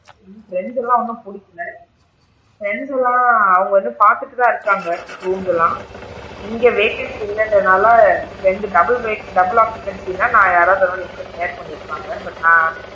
பிரண்டுலா இன்னும் பிடிக்கல பிரெண்ட்ஸ் லா அவுங்க வந்து பாத்துட்டு தான் இருக்காங்க rooms லா இங்க vacancy இல்லங்றனால friend double bed double occupancy னா நான் யாராவது ஒரு ஆள் என்கூட share பண்ணி இருப்பாங்க but நான்,